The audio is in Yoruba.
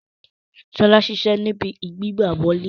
Sola ṣiṣẹ ni ìbí gbigbawole